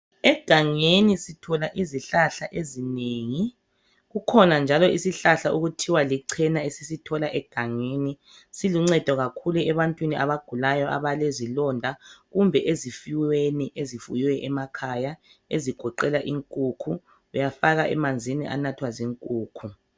Egangeni sithola izihlahla ezinengi kukhona njalo isihlahla okuthiwa lichena esisithola egangeni siluncedo kakhulu ebantwini abagulayo abelezilonda kumbe ezifuyweni ezifuywe emakhaya ezigoqela inkukhu uyafaka emanzini anathwa zinkukhu.